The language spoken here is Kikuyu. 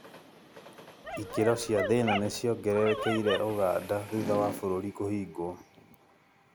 ikĩro cia thĩna nĩ ciongererekeire ũganda thutha wa bũrũri kũhingwo